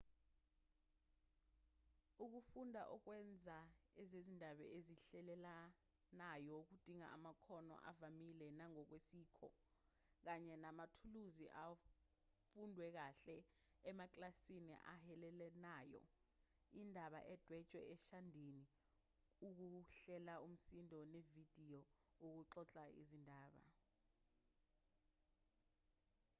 ukufunda ukwenza ezezindaba ezihilelanayo kudinga amakhono avamile nangokwesikho kanye namathuluzi afundwe kahle emakilasini ahilelanayo indaba edwetshwe eshadini ukuhlela umsindo nevidiyo ukuxoxa izindaba njll.